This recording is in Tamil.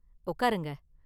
உக்காருங்க.